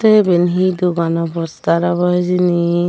te eben he dogan obow ostar obow hijeni.